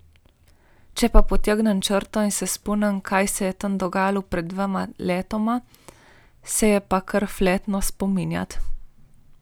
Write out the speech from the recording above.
Če pa potegnem črto in se spomnim, kaj se je tam dogajalo pred dvema letoma, se je pa kar fletno spominjati.